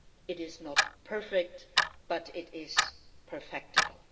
It is not perfect, but it is perfectible.